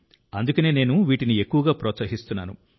అందుకే నేను వీటిని ఎక్కువగా ప్రోత్సహిస్తున్నాను